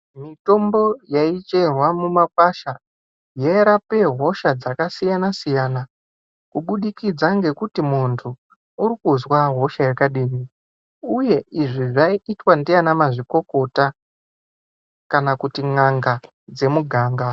Mitombo yaicherwa mumakwasha yairape hosha dzakasiyana siyana kubudikidza ngekuti muntu urikuzwa hosha yakadini uye izvi zvaiitwa ndianamazvikokota kana kuti n'anga dzemuganga.